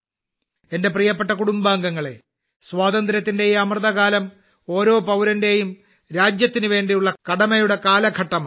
എന്റെ പ്രിയപ്പെട്ട കുടുംബാംഗങ്ങളേ സ്വാതന്ത്ര്യത്തിന്റെ ഈ അമൃതകാലം ഓരോ പൌരന്റെയും രാജ്യത്തിനുവേണ്ടിയുള്ള കടമയുടെ കാലഘട്ടമാണ്